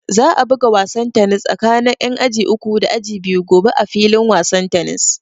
Za a buga wasan tanis tsakin ƴan aji uku da aji biyu gobe a filin wasan tanis